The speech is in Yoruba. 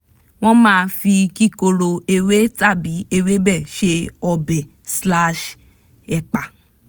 wọ́n máa fi kíkorò ewé tàbí ewébẹ̀ ṣe obẹ̀-ẹ̀pà